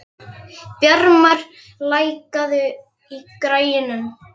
Bjarmar, lækkaðu í græjunum.